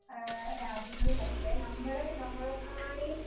ആ രാജ്യങ്ങളിലൊക്കെ നമ്മൾ നമ്മളെക്കാണീം